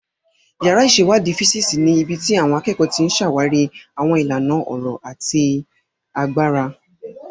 Yàrá ìṣèwádìí físíìsì ni ibi tí àwọn akẹ́kọ̀ọ́ ti ń ṣàwárí àwọn ìlànà ọ̀rọ̀ àti agbára.